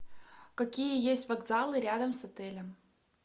какие есть вокзалы рядом с отелем